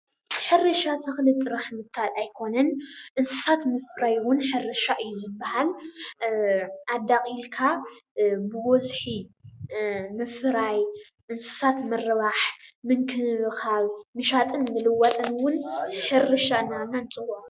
ሕርሻ ተክሊ ምትካል ጥራሕ ኣይኮነን እንስሳት ምፍራይ እዉን ሕርሻ እዩ:: ዝበሃል ኣዳቂልካ ብበዝሒ ምፍራይ እንስሳት ምርባሕ ምንክብካብ ምሻጥን ምልዋጥን እዉን ሕርሻ እናበልና ንፅውዖ።